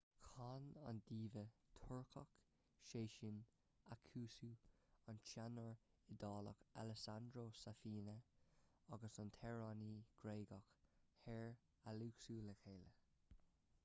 chan an diva turcach sezen aksu an teanór iodálach alessandro safina agus an t-amhránaí gréagach hair alexiou le chéile